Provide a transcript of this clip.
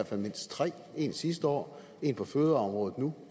mindst tre en sidste år en på fødevareområdet nu